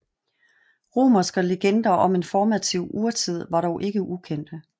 Romerske legender om en formativ urtid var dog ikke ukendte